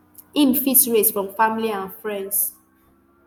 im fit raise from family and friends